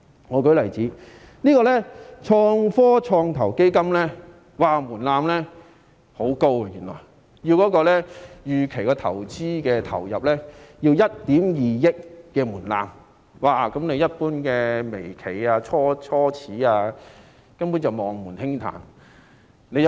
我舉個例子，創科創投基金的門檻原來很高，未投資承諾資本最少1億 2,000 萬元，一般微企、初創企業根本望門興嘆。